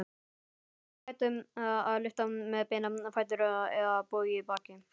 Aldrei ætti að lyfta með beina fætur eða bogið bakið.